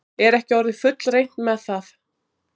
Er ekki orðið fullreynt með það?